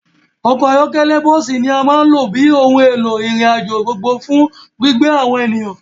Ọkọ̀ ayọ́kẹ́lẹ́ àti bọ́ọ́sì ní a máa ń lò bíi ohùn èlò ìrìn àjò gbogbo gbò fún gbígbé àwọn ènìyàn.